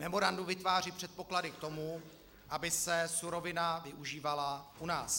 Memorandum vytváří předpoklady k tomu, aby se surovina využívala u nás.